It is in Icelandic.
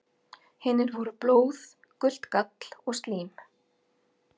Hinir voru blóð, gult gall og slím.